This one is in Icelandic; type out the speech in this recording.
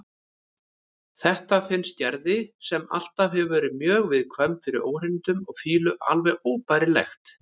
Þetta finnst Gerði, sem alltaf hefur verið mjög viðkvæm fyrir óhreinindum og fýlu, alveg óbærilegt.